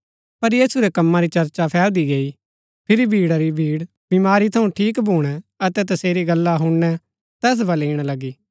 पर यीशु रै कम्मा री चर्चा फैलदी गई फिरी भीड़ा री भीड़ बीमारी थऊँ ठीक भूणै अतै तसेरी गल्ला हूणना तैस बलै ईणा लगी